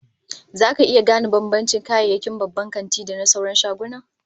Zaka iya gane bambancin kayayyakin babban kanti da na sauran shaguna?